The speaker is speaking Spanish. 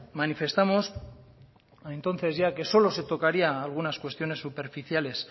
manifestamos entonces ya que solo se tocarían algunas cuestiones superficiales